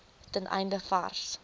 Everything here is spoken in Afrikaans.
ten einde vars